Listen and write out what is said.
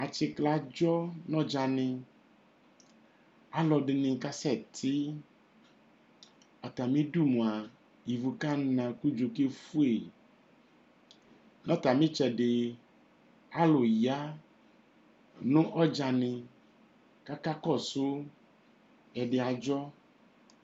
Atsɩklɛ adzɔ nʋ ɔdzanɩ Alʋdɩnɩ kasɛtɩ Atamɩdu mʋa, ivu kana kʋ udzo kefue Nʋ atamɩ ɩtsɛdɩ, alʋ ya nʋ ɔdzanɩ kʋ akakɔsʋ Ɛdɩ adzɔ